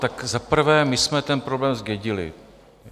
Tak za prvé, my jsme ten problém zdědili.